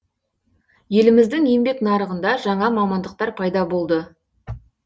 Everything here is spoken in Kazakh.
еліміздің еңбек нарығында жаңа мамандықтар пайда болды